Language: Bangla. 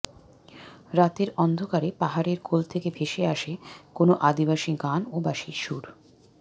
রাতের অন্ধকারে পাহাড়ের কোল থেকে ভেসে আসে কোনো আদিবাসী গান ও বাঁশির সুর